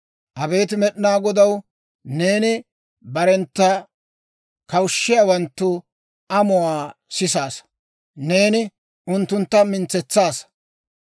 Abeet Med'inaa Godaw, neeni barentta kawushshiyaawanttu amuwaa sisaasa. Neeni unttuntta mintsetsaasa.